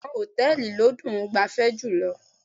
Bẹ́ẹ̀ni, ṣùgbọ́n hòtẹ́ẹ̀lì ló dùn -un gbafẹ́ jùlọ.